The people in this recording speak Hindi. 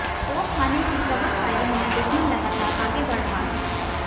तोपखाने की कवर फायरिंग में दुश्मन लगातार आगे बढ़ रहा था